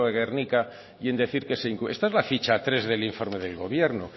de gernika y en decir que se incumple esta es la ficha tres del informe del gobierno